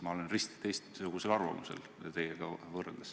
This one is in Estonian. Ma olen risti teistsugusel arvamusel kui teie.